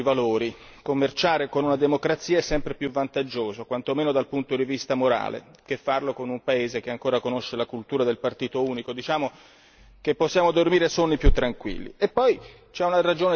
In secondo luogo i nostri valori commerciare con una democrazia è sempre più vantaggioso, quanto meno dal punto di vista morale, che farlo con un paese che ancora conosce la cultura del partito unico. Diciamo che possiamo dormire sonni più tranquilli.